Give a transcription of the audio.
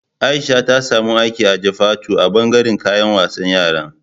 Aisha ta samu aiki a Jufatu a bangaran kayan wasan yara